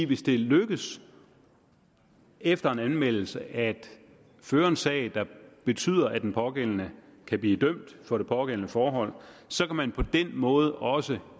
hvis det lykkes efter en anmeldelse at føre en sag der betyder at den pågældende kan blive dømt for det pågældende forhold så kan man på den måde også